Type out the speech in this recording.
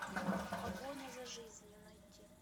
погоня за жизнью найти